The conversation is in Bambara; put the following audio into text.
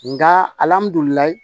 Nga